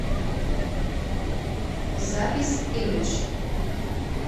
запись имэдж